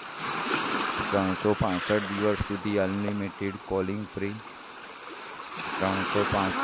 ત્રણસો પાંસઠ દિવસ સુધી unlimited calling free ત્રણસો પાંસઠ